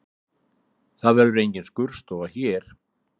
Það verður engin skurðstofa hér